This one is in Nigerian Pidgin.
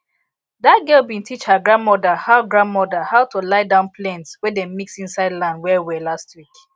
dat girl bin teach her grandmother how grandmother how to lie down plents wey dem mix insid land welwel last week